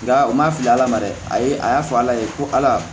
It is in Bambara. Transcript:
Nka u ma fili ala ma dɛ ayi a y'a fɔ ala ye ko ala